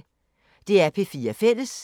DR P4 Fælles